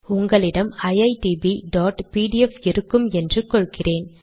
உங்களிடம் iitbபிடிஎஃப் இருக்கும் என்று கொள்கிறேன்